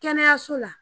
Kɛnɛyaso la